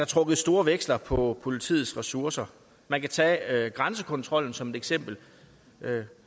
trukket store veksler på politiets ressourcer man kan tage grænsekontrollen som et eksempel